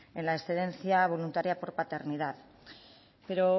en la excedencia voluntaria por paternidad pero